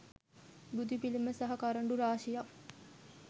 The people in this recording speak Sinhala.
බුදුපිළිම සහ කරඬු රාශියක්